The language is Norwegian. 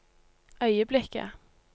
øyeblikket